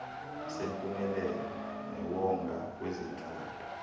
sempumelelo newonga kwezentlalo